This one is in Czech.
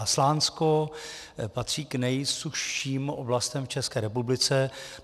A Slánsko patří k nejsušším oblastem v České republice.